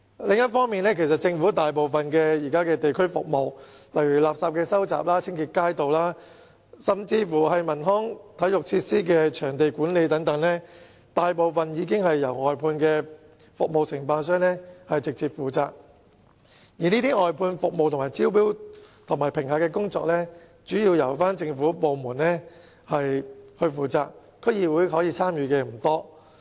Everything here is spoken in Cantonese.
此外，現時政府大部分的地區服務，例如收集垃圾、清潔街道，甚至是文康體育設施的場地管理等，大部分已經由外判服務承辦商直接負責，而外判服務的招標和評核工作，主要也是由政府部門負責，區議會可以參與的不多。